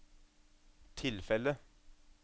tilfellet